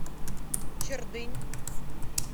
чердынь